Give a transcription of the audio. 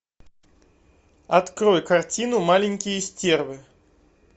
открой картину маленькие стервы